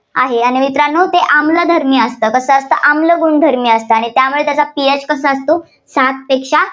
आहे. आणि मित्रांनो आणि ते आम्लधर्मी असते. कसं असतं आम्ल गुणधर्मी असतं. ्आणि त्यामुळे त्याचा ph कसा असतो, सातपेक्षा